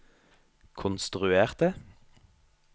konstruerte